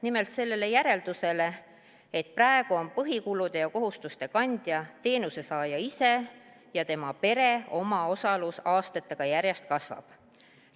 Nimelt sellele järeldusele, et praegu on põhiline kulude ja kohustuste kandja teenuse saaja ise ja tema pere omaosalus aastatega järjest kasvab.